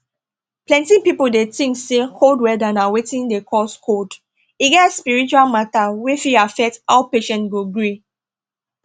plenty people dey tink say cold weather na wetin dey cause cold e get spiritual matter wey fit affect how patient go gree